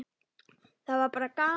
Það var bara gaman!